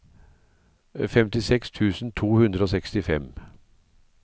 femtiseks tusen to hundre og sekstifem